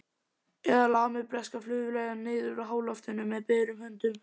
Eða lamið breskar flugvélar niður úr háloftunum með berum höndum?